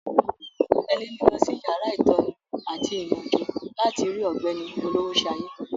Tẹ̀lé mi lọ sí yàrá ìtọ́ni àti ìyànjú láti rí ọ̀gbẹ́ni Olowoshaye.